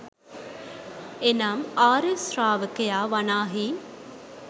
එනම් ආර්ය ශ්‍රාවකයා වනාහි